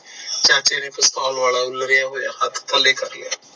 ਚਾਚੇ ਨੇ ਪਿਸਤੌਲ ਵਾਲਾ ਉਲਰਿਆ ਹੋਇਆ ਹੱਥ ਥਲੇ ਕਰ ਲਿਆ